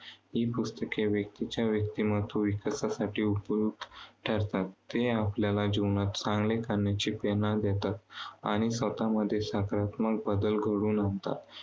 ही पुस्तके त्या व्यक्तीच्या व्यक्तिमत्व विकासासाठी उपयुक्त ठरतात. ते आपल्याला जीवनात चांगेल करण्याची प्रेरणा देतात. आणि स्वतःमध्ये सकारात्मक बदल घडवून आणतात.